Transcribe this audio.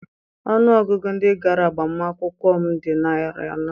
Ọnụ ọgụgụ ndị gara agbamakwụkwọ m dị narị anọ